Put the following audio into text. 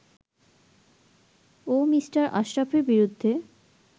ও Mr. আশরাফের বিরুদ্ধে